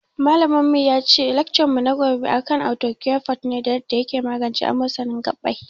Malamin mu yace laccar mu na gobe akan arthocare forte ne da yarda yake magance amosanin gabbai